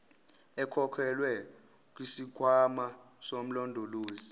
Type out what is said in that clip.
ekhokhelwe kusikhwama somlondolozi